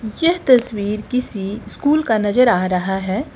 यह तस्वीर किसी स्कूल का नजर आ रहा है।